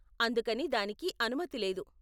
అందుకని దానికి అనుమతి లేదు.